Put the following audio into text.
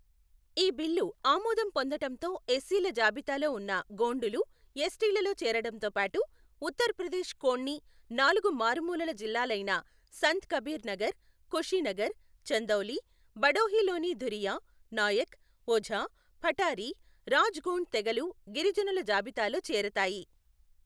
ఈ బిల్లు ఆమోదం పొందటంతో ఎస్సీల జాబితాలో ఉన్న గోండులు ఎస్టీలలో చేరటంతోబాటు ఉత్తరప్రదేశ్ కోన్నీ నాలుగు మారుమూల జిల్లాలైన సంత్ కబీర్ నగర్, కుషినగర్, ఛందౌలి, భడోహి లోని ధురియా, నాయక్, ఓఝా, పఠారి, రాజ్ గోండ్ తెగలు గిరిజనుల జాబితాలో చేరతాయి.